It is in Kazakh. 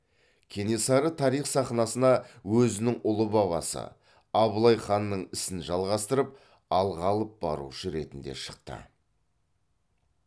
кенесары тарих сахнасына өзінің ұлы бабасы абылай ханның ісін жалғастырып алға алып барушы ретінде шықты